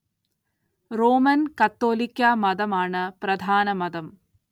Roman‍ Catholic മതം ആണ് പ്രധാന മതം